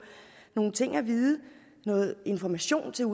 nogle ting at vide og noget information som